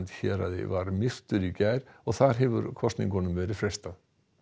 héraði var myrtur í gær og þar hefur kosningunum verið frestað